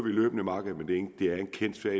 løbende markedet men det er en kendt sag